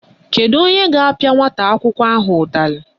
Kedu onye ga-apịa nwata akwụkwọ ahụ ụtalị?